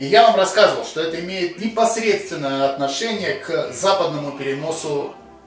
я вам рассказывал что это имеет непосредственное отношение к западному переносу